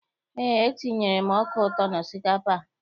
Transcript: Eé, etinyere m ọka ụtọ n'osikapa a.